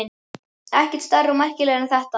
Ekkert stærri og merkilegri en þetta.